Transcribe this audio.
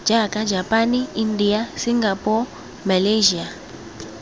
jaaka japane india singapore malyasia